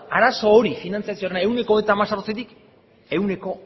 arazo hori finantziazioarena ehuneko hemezortzitik ehuneko